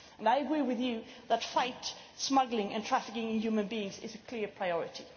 I agree with you that fighting smuggling and trafficking in human beings is a clear priority.